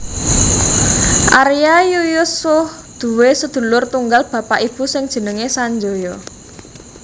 Arya Yuyutsuh duwé sedulur tunggal bapak ibu sing jenenge Sanjaya